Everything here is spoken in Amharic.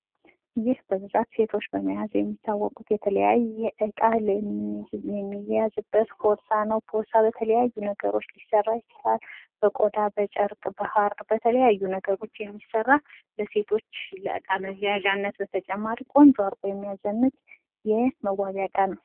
ይህ በብዛት ሴቶች የሚይዙት ፤ የተለያየ እቃ የሚያዝበት ፖርሳ ሲሆን ፤ ፖርሳ በብዙ ነገሮች ሊሰራ ይችላል። ለምሳሌ:- ብቆዳ፣ በጫርቅ እና በሃር እና በተለያዩ ነገሮች ሊሰራ የሚችል ሲሆን ብዙ ሴቶች ከእቃ መያዣነት ባሻገር ለመዘነጫነት ይጠቀሙበታል።